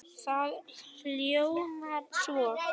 Það hljómar svo